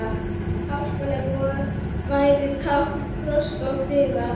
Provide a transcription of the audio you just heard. Háskóli vor væri tákn þroska og friðar.